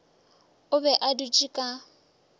o be a dutše ka